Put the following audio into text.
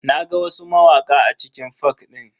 Na ga wasu mawaka a cikin fak din.